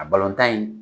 A in